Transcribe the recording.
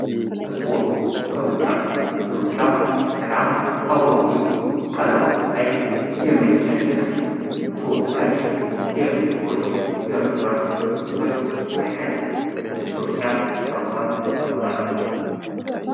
ስፖርት፡ ሩጫ፦ ሩጫ በጣም አጓጊ፣ ቀልብ አንጠልጣይና የሚያስጨንቅ ተወዳጅ የሰዎች እርስ በርስ ፉክክር አይነት ሩጫ በመባል ይታወቃል።